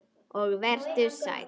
Og vertu sæll.